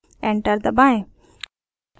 enter दबाएँ